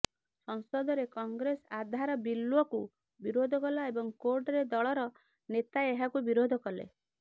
ସଂସଦରେ କଂଗ୍ରେସ ଆଧାର ବିଲ୍କୁ ବିରୋଧ କଲା ଏବଂ କୋର୍ଟରେ ଦଳର ନେତା ଏହାକୁ ବିରୋଧ କଲେ